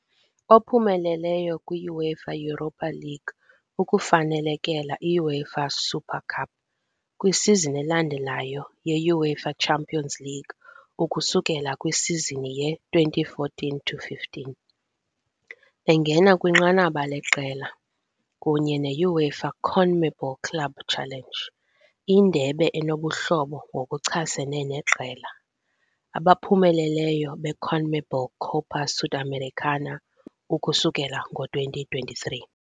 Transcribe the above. Ophumeleleyo kwi-UEFA Europa League ukufanelekela i-UEFA Super Cup, kwisizini elandelayo yeUEFAChampionsLeague ukusukela kwisizini ye-2014-15, engena kwinqanaba leqela, kunye ne -UEFA-CONMEBOL Club Challenge - indebe enobuhlobo ngokuchasene neqela. abaphumeleleyo beCONMEBOL Copa Sudamericana - ukusukela ngo-2023.